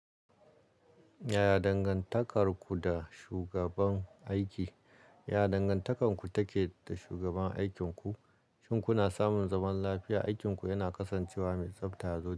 Ya ya dangantakarku da shugaban aiki? Ya dangantarku take da shugaban aikinku? Shin kuna samun zaman lafiya, aikinku yana kasancewa mai tsabta zo.